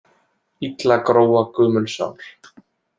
Illa gróa gömul sár.